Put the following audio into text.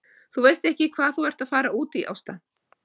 Þú veist ekki hvað þú ert að fara út í Ásta!